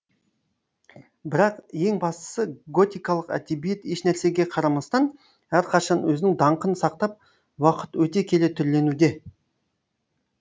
бірақ ең бастысы готикалық әдебиет ешнәрсеге қарамастан әрқашан өзінің даңқын сақтап уақыт өте келе түрленуде